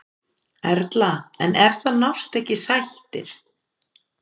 Erla: En ef að það nást ekki sættir?